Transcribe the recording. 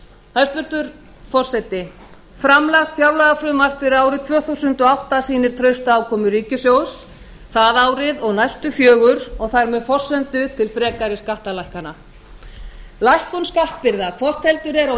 hæstvirtur forseti framlagt fjárlagafrumvarp fyrir árið tvö þúsund og átta sýnir trausta afkomu ríkissjóðs það árið og næstu fjögur og þar með forsendur til frekari skattalækkana lækkun skattbyrða hvort heldur er á